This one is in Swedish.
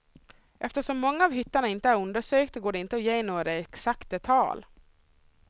Eftersom många av hytterna inte är undersökta går det inte att ge några exakta tal.